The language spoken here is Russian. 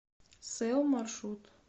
сэл маршрут